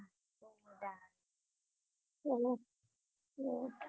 hello હ